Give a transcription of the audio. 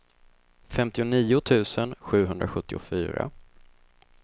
femtionio tusen sjuhundrasjuttiofyra